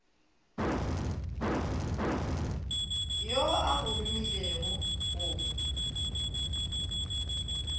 yo a go romilego go